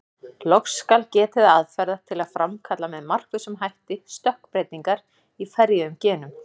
Loks skal getið aðferða til að framkalla með markvissum hætti stökkbreytingar í ferjuðum genum.